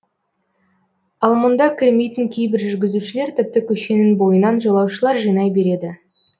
ал мұнда кірмейтін кейбір жүргізушілер тіпті көшенің бойынан жолаушылар жинай береді